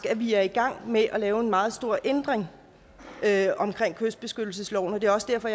at vi er i gang med at lave en meget stor ændring af kystbeskyttelsesloven og det er også derfor